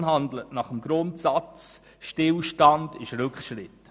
Unsere Fraktion handelt nach dem Grundsatz «Stillstand ist Rückschritt».